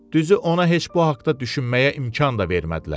Düzü ona heç bu haqda düşünməyə imkan da vermədilər.